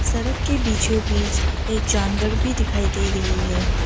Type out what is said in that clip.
सड़क के बीचों बीच एक जानवर भी दिखाई दे रही हैं।